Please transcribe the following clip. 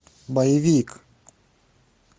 боевик